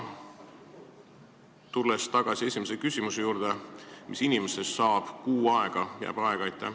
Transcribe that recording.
Tulen tagasi ka esimese küsimuse juurde: mis inimestest saab, umbes kuu jääb aega?